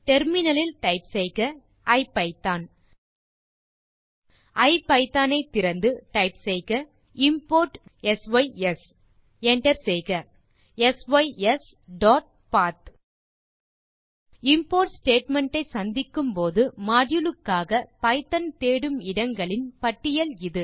terminal இல் type செய்க IPython IPython ஐ திறந்து டைப் செய்க இம்போர்ட் சிஸ் என்டர் செய்க sysபத் இம்போர்ட் ஸ்டேட்மெண்ட் ஐ சந்திக்கும் போது மாடியூல் க்காக பைத்தோன் தேடும் இடங்களின் பட்டியல் இது